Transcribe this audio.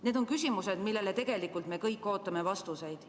Need on küsimused, millele tegelikult me kõik ootame vastuseid.